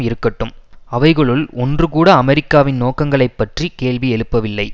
இருக்கட்டும் அவைகளுள் ஒன்று கூட அமெரிக்காவின் நோக்கங்களைப் பற்றி கேள்வி எழுப்பவில்லை